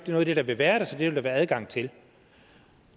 noget af det der vil være der så det vil der være adgang til